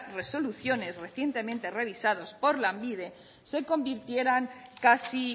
resoluciones recientemente revisados por lanbide se convirtieran casi